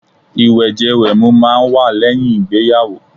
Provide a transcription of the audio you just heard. Ìwẹ̀jẹ-wẹ̀mu máà ń wà lẹ́yìn ìgbéyàwó